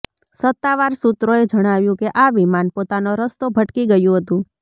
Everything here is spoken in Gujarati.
સત્તાવાર સૂત્રોએ જણાવ્યુ કે આ વિમાન પોતાનો રસ્તો ભટકી ગયુ હતુ